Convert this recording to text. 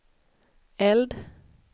eld